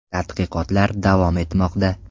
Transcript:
Tadqiqotlar davom etmoqda.